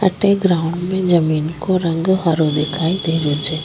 अठ ग्राउंड में जमीं को रंग हरो दिखाई दे रो छे।